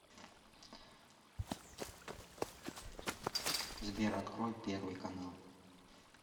сбер открой первый канал